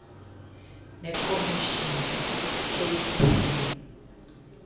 nekomishini icape film